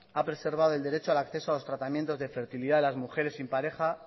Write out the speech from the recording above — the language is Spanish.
ha preservado el derecho al acceso a lo tratamientos de fertilidad de las mujeres sin pareja